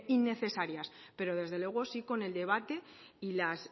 innecesarias pero desde luego sí con el debate y las